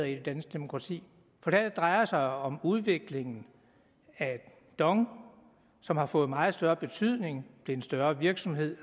i det danske demokrati for det her drejer sig om udviklingen af dong som har fået meget større betydning det er en større virksomhed